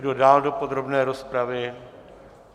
Kdo dál do podrobné rozpravy?